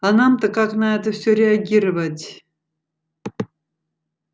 а нам-то как на это всё реагировать